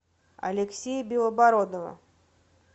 алексея белобородова